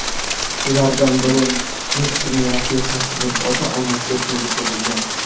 Ulardan biri Messining rafiqasining ota-onasiga tegishli bo‘lgan.